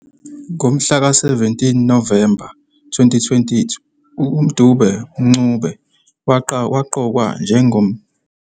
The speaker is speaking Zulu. Ngomhlaka 17 Novemba 2020, uDube-Mncube waqokwa njengoNgqongqoshe wezeziMali, esikhundleni sikaRavi Pillay.